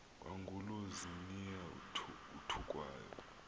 kwangulo ziniya uthukwayo